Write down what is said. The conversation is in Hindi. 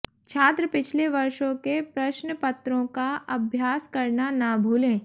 छात्र पिछले वर्षों के प्रश्नपत्रों का अभ्यास करना न भूलें